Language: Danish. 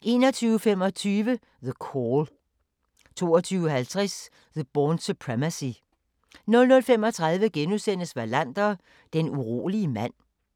21:25: The Call 22:50: The Bourne Supremacy 00:35: Wallander: Den urolige mand